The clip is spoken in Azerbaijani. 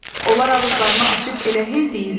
Onlar ağızlarını açıb elə hey deyirlər: